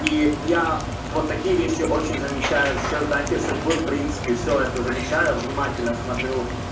и я вот такие вещи очень замечаю все знаки судьбы в принципе всё это замечаю внимательно смотрю